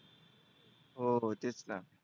हो तेचना.